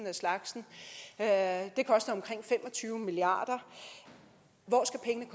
af slagsen det koster omkring fem og tyve milliard